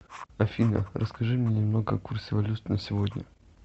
афина расскажи мне немного о курсе валют на сегодня